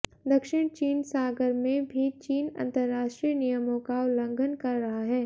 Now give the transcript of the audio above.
दक्षिण चीन सागर में भी चीन अंतरराष्ट्रीय नियमों का उल्लंघन कर रहा है